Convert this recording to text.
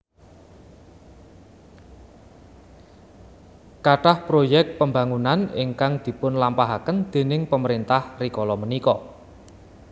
Kathah proyek pembangunan ingkang dipun lampahaken déning pemerintah rikala punika